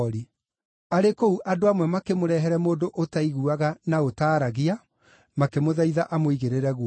Arĩ kũu andũ amwe makĩmũrehere mũndũ ũtaiguaga na ũtaaragia, makĩmũthaitha amũigĩrĩre guoko.